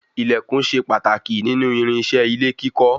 Ilẹkùn ṣe pàtàkì nínú irinṣẹ́ ilé kíkọ́